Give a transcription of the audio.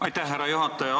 Aitäh, härra juhataja!